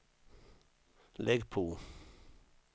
lägg på